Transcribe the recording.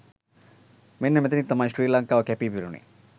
මෙන්න මෙතනදී තමයි ශ්‍රී ලංකාව කැපී පෙනුණේ.